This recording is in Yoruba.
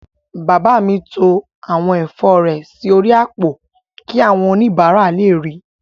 Bàbá mi to àwọn ẹ̀fọ́ rẹ̀ sí orí àpò kí àwọn oníbàárà lè ríi